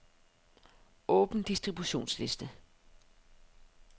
Åbn distributionsliste.